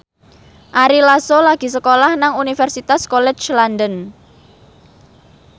Ari Lasso lagi sekolah nang Universitas College London